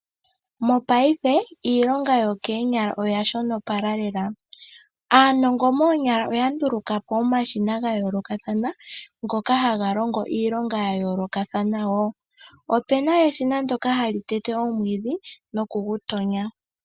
Mopaife iilonga yokeenyala oya shonopala lela. Aanongo moonyala oya ndulukapo omashina ga yoolokakathana ngoka haga longo iilonga ya yolokathana wo. Opuna eshina ndyoka hali tete omwiidhi nokugu tonya.